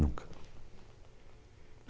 Nunca.